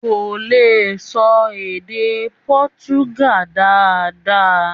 Kò lè ṣọ èdè Portugal dáadáa.